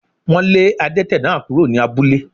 Wọ́n lé adẹ́tẹ̀ náà kúrò ní abúlé